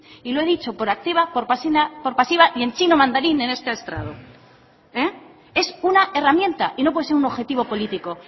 déficit y lo he dicho por activa por pasiva y en chino mandarín en este estrado es una herramienta y no puede ser un objetivo político